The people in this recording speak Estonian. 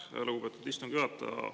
Aitäh, lugupeetud istungi juhataja!